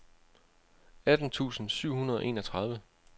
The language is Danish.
atten tusind syv hundrede og enogtredive